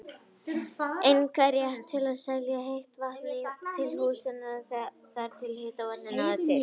einkarétt til að selja heitt vatn til húshitunar þar sem hitaveitan náði til.